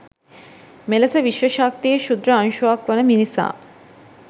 මෙලෙස විශ්ව ශක්තියේ ක්‍ෂුද්‍ර අංශුවක් වන මිනිසා